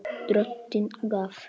Drottin gaf.